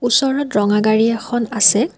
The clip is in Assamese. ওচৰত ৰঙা গাড়ী এখন আছে।